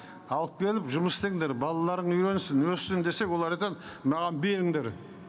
алып келіп жұмыс істеңдер балаларың үйренсін өссін десек олар маған беріңдер